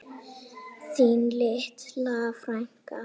Þín litla frænka.